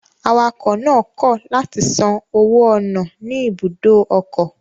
Awakọ̀ náà kọ̀ látì san owó ọ̀nà ní ibùdó ọkọ̀